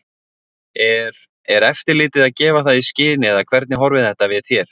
Er, er eftirlitið að gefa það í skyn eða hvernig horfir þetta við þér?